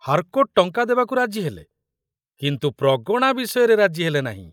Harcourt ଟଙ୍କା ଦେବାକୁ ରାଜିହେଲେ, କିନ୍ତୁ ପ୍ରଗଣା ବିଷୟରେ ରାଜିହେଲେ ନାହିଁ।